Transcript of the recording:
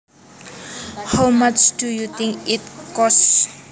How much do you think it costs